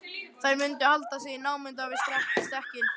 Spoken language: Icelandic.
Þær mundu halda sig í námunda við stekkinn.